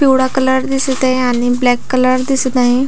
पिवळा कलर दिसत आहे आणि ब्लॅक कलर दिसत आहे.